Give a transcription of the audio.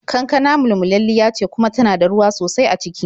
Kankana mulmulalliya ce kuma tana da ruwa sosai a ciki.